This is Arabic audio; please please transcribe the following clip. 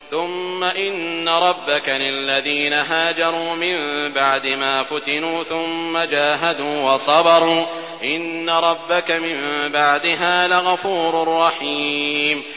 ثُمَّ إِنَّ رَبَّكَ لِلَّذِينَ هَاجَرُوا مِن بَعْدِ مَا فُتِنُوا ثُمَّ جَاهَدُوا وَصَبَرُوا إِنَّ رَبَّكَ مِن بَعْدِهَا لَغَفُورٌ رَّحِيمٌ